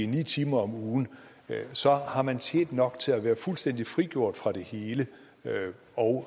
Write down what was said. ni timer om ugen har man tjent nok til at være fuldstændig frigjort fra det hele og